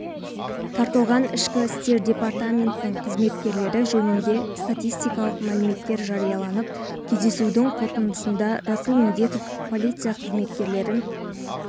тартылған ішкі істер департаментінің қызметкерлері жөнінде статистикалық мәліметтер жарияланып кездесудің қорытындысында расул медетов полиция қызметкерлерін